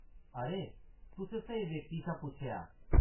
अरे, तुसें स्हेई व्यक्ति शा पुच्छेआ।